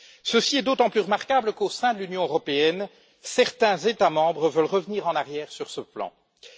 Ceci est d'autant plus remarquable qu'au sein de l'Union européenne, certains États membres veulent revenir en arrière dans ce domaine.